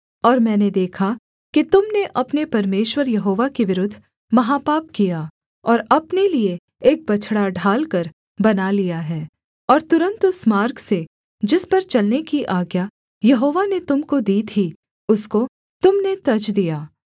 और मैंने देखा कि तुम ने अपने परमेश्वर यहोवा के विरुद्ध महापाप किया और अपने लिये एक बछड़ा ढालकर बना लिया है और तुरन्त उस मार्ग से जिस पर चलने की आज्ञा यहोवा ने तुम को दी थी उसको तुम ने तज दिया